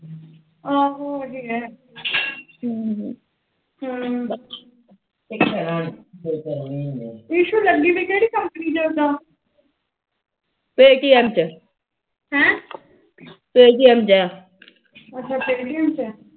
issue ਲੱਗੀਵੀ ਕਿਹੜੀ company ਚ ਉਦਾ paytm ਹਮ paytm ਚ ਅੱਛਾ paytm